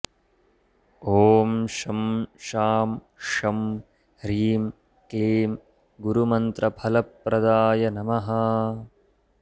ॐ शं शां षं ह्रीं क्लीं गुरुमन्त्रफलप्रदाय नमः